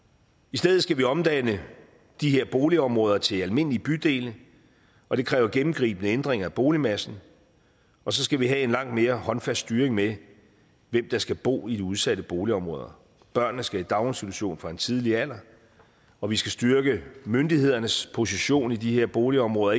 stedet skal vi omdanne de her boligområder til almindelige bydele og det kræver gennemgribende ændringer af boligmassen og så skal vi have en langt mere håndfast styring med hvem der skal bo i de udsatte boligområder børnene skal i daginstitution fra en tidlig alder og vi skal styrke myndighedernes position i de her boligområder